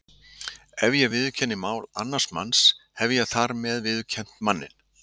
Ef ég viðurkenni mál annars manns hef ég þar með viðurkennt manninn.